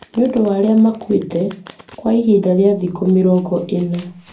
nĩ ũndũ wa arĩa makuĩte kwa ihinda rĩa thikũ mĩrongo ĩna.